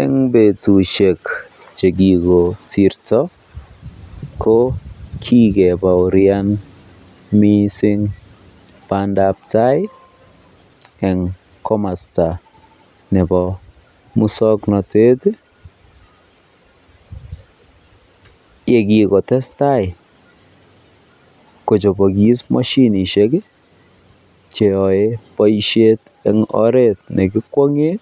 Eng betushek chekikosirto ko kikebaorian mising bandab taai eng komosto nebo muswoknotet yekikotestai kochobokis moshinishek cheyoe boishet eng oreet nekikwongen